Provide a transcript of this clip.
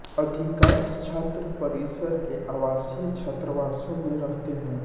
अधिकांश छात्र परिसर के आवासीय छात्रावासों में रहते हैं